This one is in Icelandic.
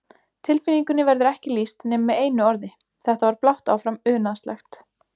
Tilfinningunni verður ekki lýst nema með einu orði, þetta var blátt áfram unaðslegt.